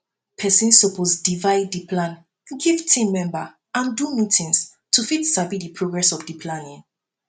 persin suppose divide di plan give team member and do meetings to fit sabi di progress of di planning